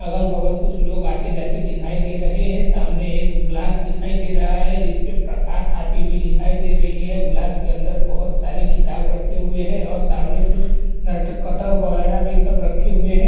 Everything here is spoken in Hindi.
अगल-बगल कुछ लोग आते जाते दिखाई दे रहे हैं। सामने एक ग्लास दिखाई दे रहा है जिस पे प्रकाश आती हुई दिखाई दे रही है। गिलास के अंदर बहोत सारे किताब रखे हुए हैं और सामने कुछ नट-कटर वगैरा भी सब रखे हुए हैं।